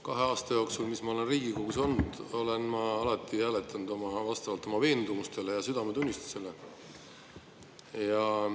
Kahe aasta jooksul, mis ma olen Riigikogus olnud, olen ma alati hääletanud vastavalt oma veendumustele ja südametunnistusele.